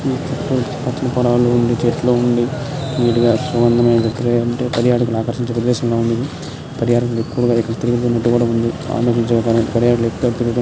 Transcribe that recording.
పచ్చని పొలాలు ఉంది. చెట్లూ ఉండి. వీడియా పర్యాటకులు ఆకర్షించే ప్రదేశంలా ఉంది. పర్యాటకులు ఎక్కువగా ఇక్కడ తిరుగుతున్నటుగా కడు ఉంది. పర్యాటకుల